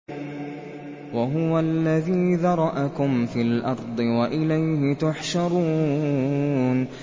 وَهُوَ الَّذِي ذَرَأَكُمْ فِي الْأَرْضِ وَإِلَيْهِ تُحْشَرُونَ